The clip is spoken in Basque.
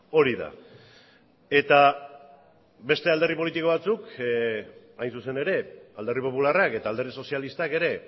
hori da eta beste alderdi politiko batzuk hain zuzen ere alderdi popularrak eta alderdi sozialistak ere